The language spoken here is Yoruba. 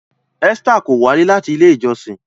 Esther kò walẹ láti ilé ìjósìn